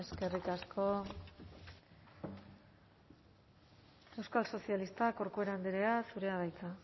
eskerrik asko euskal sozialistak corcuera andrea zurea da hitza